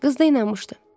Qız da inanmışdı.